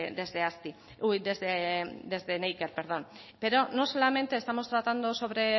neiker pero no solamente estamos tratando sobre